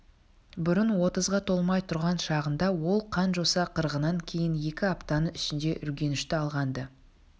бұрын отызға толмай тұрған шағында ол қан-жоса қырғыннан кейін екі аптаның ішінде үргенішті алған-ды